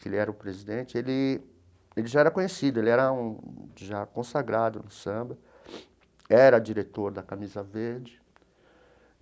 que ele era o presidente, ele ele já era conhecido, ele era um já consagrado no samba, era diretor da Camisa Verde.